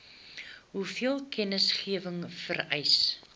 hoeveel kennisgewing vereis